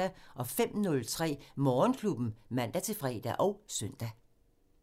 05:03: Morgenklubben (man-fre og søn)